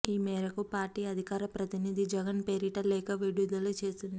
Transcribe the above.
ఈ మేరకు పార్టీ అధికార ప్రతినిధి జగన్ పేరిట లేఖ విడుదల చేసింది